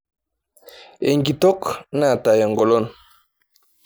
Enkitok naata engolon.